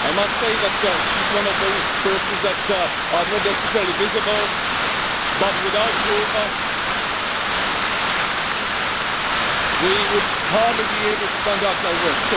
I must say that she is one of those persons who are not necessarily visible but without whom we would hardly be able to conduct our work.